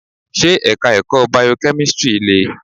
Ṣé Ẹ̀ka ẹ̀kọ́ Bio-kemistri le?